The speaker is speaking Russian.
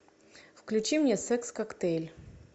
включи мне секс коктейль